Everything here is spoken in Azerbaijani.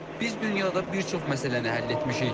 Biz dünyada bir çox məsələni həll etmişik.